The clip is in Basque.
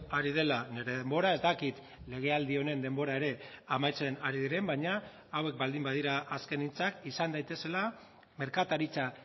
ari dela nire denbora ez dakit legealdi honen denbora ere amaitzen ari diren baina hauek baldin badira azken hitzak izan daitezela merkataritza